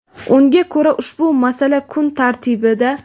Unga ko‘ra, ushbu masala kun tartibida.